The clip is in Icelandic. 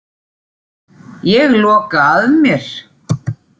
Ég loka að mér.